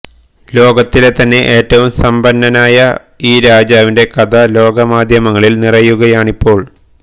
ലോകത്തിലെ തന്നെ ഏറ്റവും സമ്പന്നനായ ഈ രാജാവിന്റെ കഥ ലോകമാധ്യമങ്ങളില് നിറയുകയാണിപ്പോള്